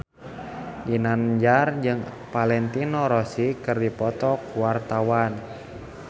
Ginanjar jeung Valentino Rossi keur dipoto ku wartawan